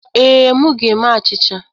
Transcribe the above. Ee, m ga-eme achịcha.